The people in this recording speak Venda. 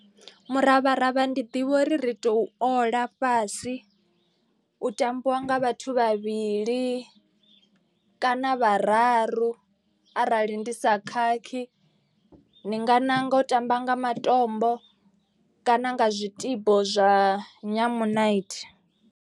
Muravharavha ndi ḓivha uri ri tou ola fhasi u tambiwa nga vhathu vhavhili kana vhararu. Arali ndi sa khakhi ni nga ṋanga u tamba nga matombo kana nga zwitibo zwa nyamunaithi.